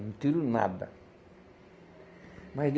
Não tiro nada. Mas